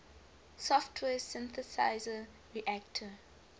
software synthesizer reaktor